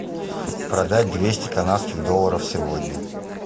продать двести канадских долларов сегодня